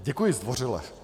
Děkuji zdvořile.